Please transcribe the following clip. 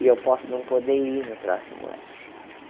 E eu posso não poder ir no próximo ano.